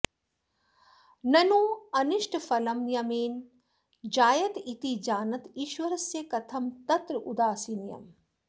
नन्वनिष्टफलं नियमेन जायत इति जानत ईश्वरस्य कथं तत्रोदासीन्यम्